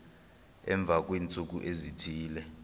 emva kweentsuku ezithile